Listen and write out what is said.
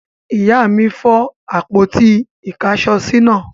Ìyá mi fọ́ àpótí-ìkáṣọsí náà.